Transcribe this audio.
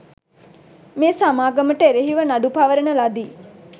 මේ සමාගමට එරෙහි ව නඩු පවරන ලදී